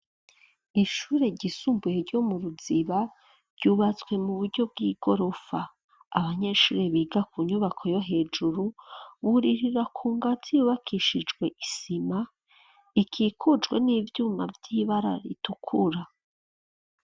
Ishure ryisumbuye ryo mu Ruziba ryubatswe mu buryo bw'igorofa. Abanyeshuri biga ku nyubako yo hejuru wuririra ku ngazi yubakishijwe isima ikikucwe n'ivyuma ry'ibara ritukura.